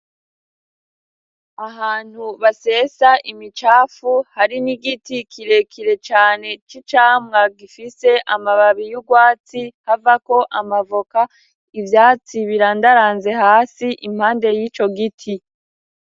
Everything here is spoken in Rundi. Ahantu basesa imicafu hari n'igiti kirekire cane c'icamwa gifise amababi y'urwatsi havako amavoka ivyatsi birandaranze hasi impande y'ico giti.